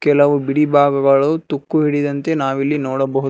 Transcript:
ಕೆಲವು ಬಿಡಿ ಭಾಗಗಳು ತುಕ್ಕು ಹಿಡಿದಂತೆ ನಾವಿಲ್ಲಿ ನೋಡಬಹುದು.